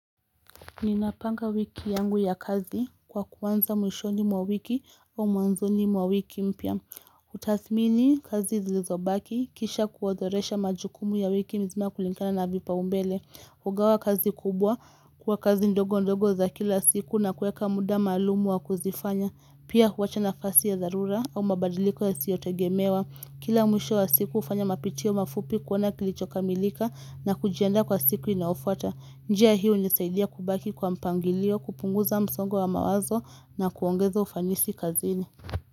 Ninapanga wiki yangu ya kazi kwa kuanza mwishoni mwa wiki wa mwanzoni mwa wiki mpya. Kutathimini kazi zilizobaki kisha kuodhoresha majukumu ya wiki nzima kulingana na vipaombele. Kugawa kazi kubwa kwa kazi ndogo ndogo za kila siku na kuweka muda maalumu wa kuzifanya. Pia huacha nafasi ya dharura au mabadiliko yasiyo tegemewa. Kila mwisho ya siku hufanya mapitio mafupi kuona kilichokamilika na kujiandaa kwa siku inayofuata. Njia hiyo imenisaidia kubaki kwa mpangilio kupunguza msongo wa mawazo na kuongeza ufanisi kazini.